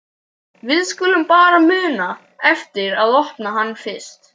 Við skulum bara muna eftir að opna hann fyrst!